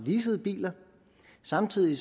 leasede biler samtidig